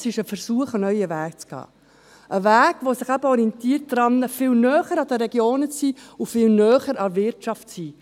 Es ist aber der Versuch, einen neuen Weg zu gehen – ein Weg, der sich daran orientiert, näher an den Regionen und viel näher an der Wirtschaft zu sein.